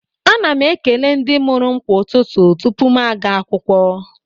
Ana m ekele ndị mụrụ m kwa ụtụtụ tupu m aga akwụkwọ